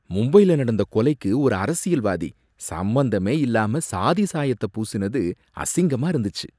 மும்பைல நடந்த கொலைக்கு ஒரு அரசியல்வாதி சம்மந்தமே இல்லாம சாதிசாயத்த பூசினது அசிங்கமா இருந்துச்சு.